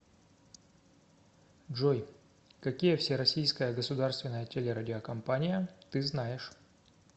джой какие всероссийская государственная телерадиокомпания ты знаешь